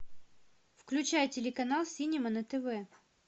включай телеканал синема на тв